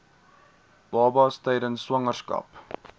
babas tydens swangerskap